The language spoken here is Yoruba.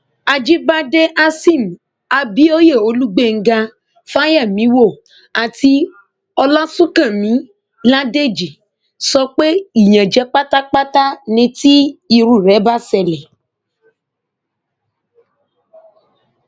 àjíbádé hasim abioye olùgbèńgá fáyemíwò àti ọlásùnkànmí ládèjì sọ pé ìyànjẹ pátápátá ni tí irú rẹ bá ṣẹlẹ